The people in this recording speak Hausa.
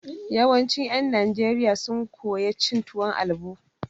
Yawancin ƴen Najeriya sun koya cin tuwon albo.